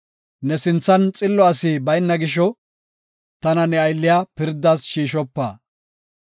Ne sinthan xillo asi bayna gisho tana ne aylliya pirdas shiishopa.